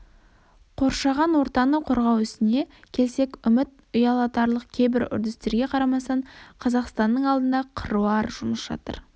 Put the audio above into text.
қоршаған ортаны қорғау ісіне келсек үміт ұялатарлық кейбір үрдістерге қарамастан қазақстанның алдында қыруар жұмыс жатыр